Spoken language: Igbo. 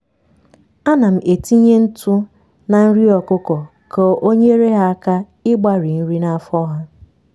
anam etinye ntụ na nri ọkụkọ ka onyere ha aka ịgbari nri na afọ ha